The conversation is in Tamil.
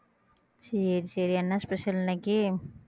சரி சரி என்ன special இன்னைக்கு